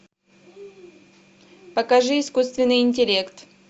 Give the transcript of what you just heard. покажи искусственный интеллект